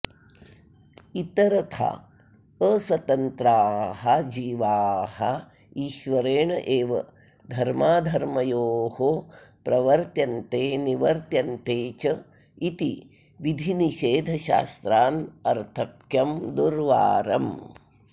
इतरथा अस्वतन्त्राः जीवाः ईश्वरेण एव धर्माधर्मयोः प्रवर्त्यन्ते निवर्त्यन्ते च इति विधिनिषेधशास्त्रानर्थक्यं दुर्वारम्